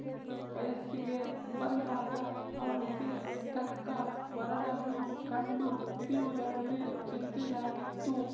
ವಯಸ್ಸಿಗೆ ಬಂದಾಗ ಅವಳಿಗೆ ತಕ್ಕ ವರನನ್ನು ಕಂಡು ಹಿಡಿಯುವುದರಲ್ಲಿ ಚಿಂತೆಯಾಗಿತ್ತು